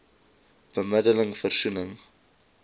bemidde ling versoening